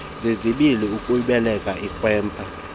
zizibi uyibeleka ikrwempa